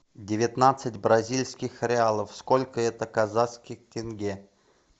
девятнадцать бразильских реалов сколько это казахских тенге